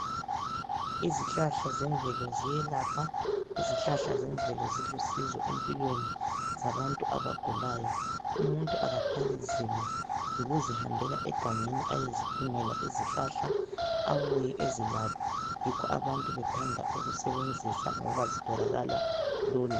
Izihlahla zemvelo ziyelapha, izihlahla zemvelo zilusizo empilweni zabantu abagulayo umuntu akathwali nzima yikuzihambela egangeni ayezidingela izihlahla abuye ezilaphe yikho abantu bethanda ukusebenzisa ngoba zitholakala lula.